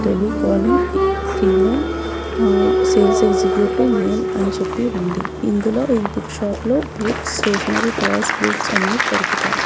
Tele calling female ఆ sales executive male అని చెప్పి ఉంది ఇందులో ఈ బుక్ షాప్ లో బుక్ స్టేషనరీ టాయ్స్ గిఫ్ట్స్ అన్ని దొరుకుతాయి.